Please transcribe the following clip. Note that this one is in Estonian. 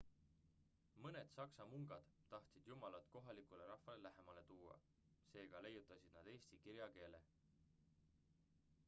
mõned saksa mungad tahtsid jumalat kohalikule rahvale lähemale tuua seega leiutasid nad eesti kirjakeele